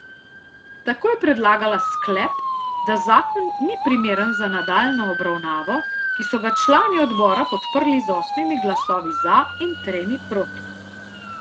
Tako je predlagala sklep, da zakon ni primeren za nadaljnjo obravnavo, ki so ga člani odbora podprli z osmimi glasovi za in tremi proti.